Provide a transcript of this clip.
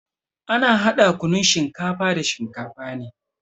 Ana hada kunnun shinkafa da shinkafa ne.